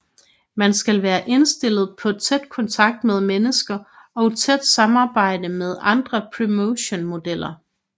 Man skal være indstillet på tæt kontakt med mennesker og tæt samarbejde med andre promotion modeller